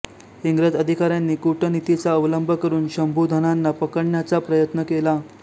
इंग्रज अधिकाऱ्यांनी कूटनीतीचा अवलंब करून शंभुधनांना पकडण्याचा प्रयत्न केला